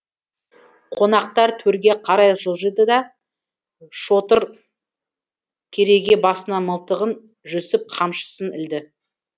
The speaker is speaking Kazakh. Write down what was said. қонақтар төрге қарай жылжыды да шодыр кереге басына мылтығын жүсіп қамшысын ілді